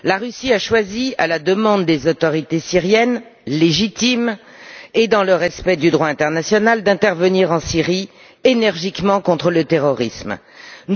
La Russie a choisi, à la demande des autorités syriennes légitimes et dans le respect du droit international, d'intervenir énergiquement contre le terrorisme en Syrie.